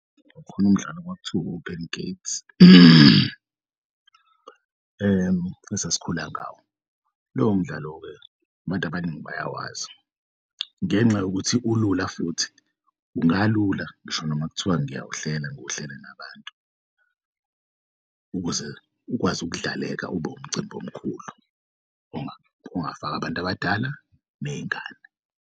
Kukhon'umdlalo kwakuthiwa u-open gates esasikhula ngawo lowo mdlalo-ke abantu abaningi bayawazi ngenxa yokuthi ulula futhi, ungalula ngisho noma kuthiwa ngingawuhlela ngiwuhlele nabantu ukuze ukwazi ukudlaleka ube umcimbi omkhulu ongafak'abantu abadala ney'ngane.